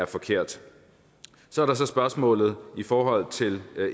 forkert så er der så spørgsmålet i forhold til